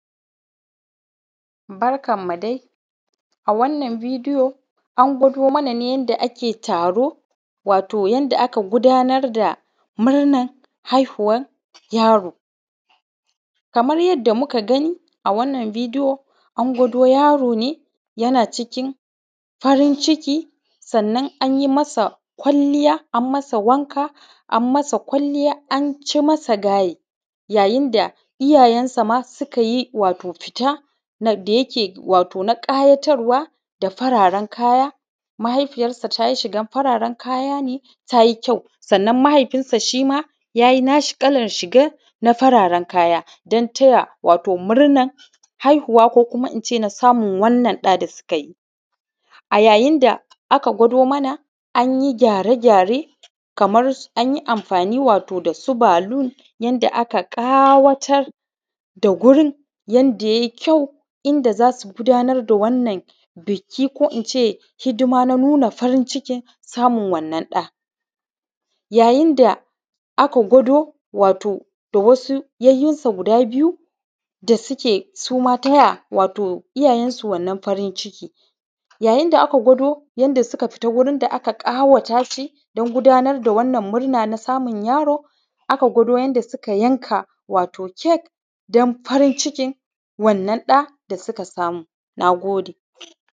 Barkanmu dai a wannan bidiyo an gwado mana ne yanda ake taro wato yanda aka gudanar da murnar haihuwar yaro. Kamar yanda muka gani a wannan bidiyo an gwado yaro ne yana cikin farin-ciki, sannan anyi ma sa kwalliya an masa wanka an masa kwalliya anci masa gaye yayin da iyayensa ma suka yi wato fita na da yake wato na ƙayatarwa da fararen kaya mahaifiyarsa ta yi shigar fararen kaya ne ta yi kyau sannan mahaifinsa shima yayi naa shi kalar shigar na fararen kaya don taya wato murnar haihuwa ko kuma ince na samun wannan ɗa da suka yi. A yayin da aka gwado mana anyi gyare-gyare kamar anyi amfaani wato da su baluu yanda aka ƙawatar da wurin yanda yayi kyau inda za su gudaanar da wannan biki ko ince hidima na nuna farin-cikin samun wannan ɗa, yayin da aka gwado wato da wasu yayyinsa guda biyu da suke su ma ta ya wato iyayensu wannan farin-ciki. Yayin da aka gwado yanda suka fita wurin da aka ƙawatashi don gudaanar da wannan murna na samun yaro aka gwado yanda suka yanka wato cake don farin-cikin wannan ɗa da suka samu, naagode